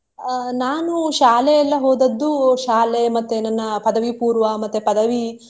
ಅಹ್ ನಾನು ಶಾಲೆ ಎಲ್ಲಾ ಹೋದದ್ದು ಶಾಲೆ ಮತ್ತೆ ನನ್ನ ಪದವಿಪೂರ್ವ ಮತ್ತೆ ಪದವಿ.